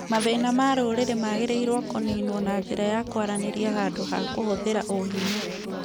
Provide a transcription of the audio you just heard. Mathĩna ma rũrĩrĩ magĩrĩirũo kũniinwo na njĩra ya kwaranĩria handũ ha kũhũthĩra ũhinya